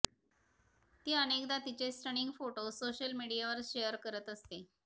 ती अनेकदा तिचे स्टनिंग फोटो सोशल मीडियावर शेअर करत असते